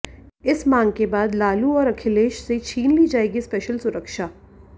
इस मांग के बाद लालू और अखिलेश से छीन ली जाएगी स्पेशल सुरक्षा